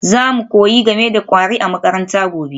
Za mu koyi game da kwari a makaranta gobe